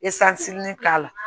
k'a la